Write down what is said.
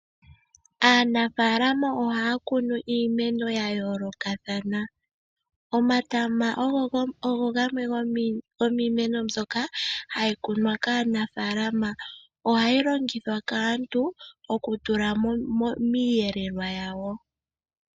Aanafalama ohaya kunu iimeno ya yoolokathana. Omatama ogo gamwe gomiimeno mbyoka hayi kunwa kaanafalama, ohayi longithwa kaantu oku tula miiyelelwa yawo.